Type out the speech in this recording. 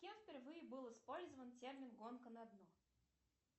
кем впервые был использован термин гонка на дно